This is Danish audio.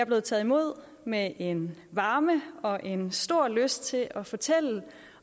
blevet taget imod med en varme og en stor lyst til at fortælle